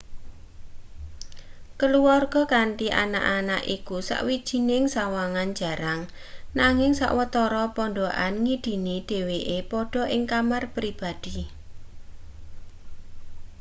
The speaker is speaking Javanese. keluwarga kanthi anak-anak iku sawijining sawangan jarang nanging sawetara pondhokan ngidini dheweke padha ing kamar pribadi